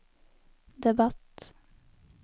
debatt